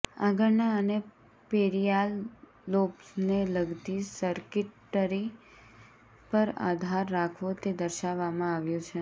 આગળના અને પેરિઆલ લોબ્સને લગતી સર્કિટરી પર આધાર રાખવો તે દર્શાવવામાં આવ્યું છે